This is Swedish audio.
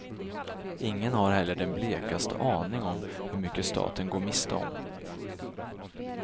Ingen har heller den blekaste aning om hur mycket staten går miste om.